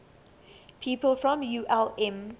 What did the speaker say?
people from ulm